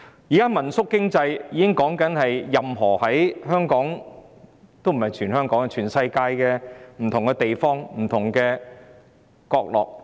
現在民宿經濟已不單遍及全港、而是存在於全世界的不同地方、不同角落。